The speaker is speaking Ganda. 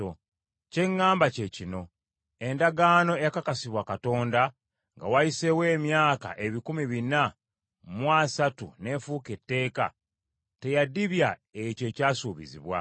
Kye ŋŋamba kye kino: endagaano eyakakasibwa Katonda nga wayiseewo emyaka ebikumi bina mu asatu n’efuuka etteeka, teyadibya ekyo ekyasuubizibwa.